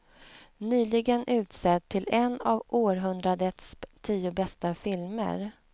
Nyligen utsedd till en av århundradets tio bästa filmer.